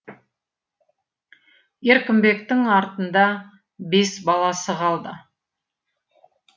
еркінбектің артында бес баласы қалды